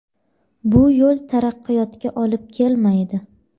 Bu yo‘l taraqqiyotga olib kelmaydi.